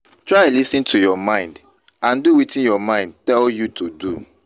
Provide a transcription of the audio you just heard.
try lis ten to your mind and do wetin your mind tell you to do